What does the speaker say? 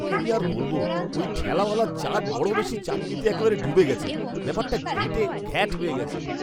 কী আর বলব, ওই ঠেলাওয়ালা চাট বড় বেশি চাটনিতে একেবারে ডুবে গেছে। ব্যাপারটা ঘেঁটে ঘ্যাঁট হয়ে গেছে।